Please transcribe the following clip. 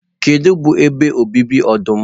Gịnị bụ ebe obibi ọdụm?